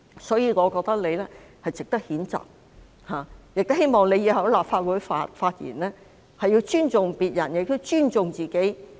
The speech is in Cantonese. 因此，我覺得毛議員應予以譴責，亦希望她以後在立法會發言時尊重別人和自己。